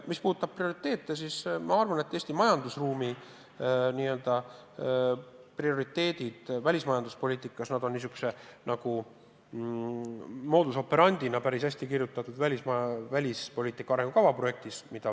Mis puudutab prioriteete, siis ma arvan, et Eesti majandusruumi prioriteedid välismajanduspoliitikas on sellise modus operandi'na päris hästi kirja pandud Välisministeerium koostatud välispoliitika arengukava projektis.